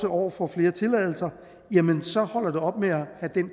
år får flere tilladelser så holder det op med at have